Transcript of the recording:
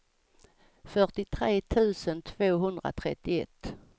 fyrtiotre tusen tvåhundratrettioett